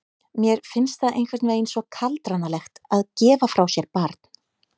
Mér finnst það einhvern veginn svo kaldranalegt að gefa frá sér barn.